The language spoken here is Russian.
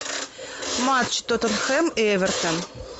матч тоттенхэм и эвертон